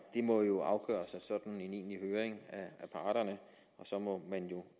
må jo afgøres ved en egentlig høring af parterne og så må man jo